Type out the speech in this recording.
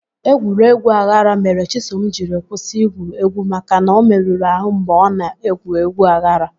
Egwuregwu aghara mere Chisom jiri kwụsị igwu egwu maka na ọ merụrụ ahụ mgbe ọ na egwu egwu aghara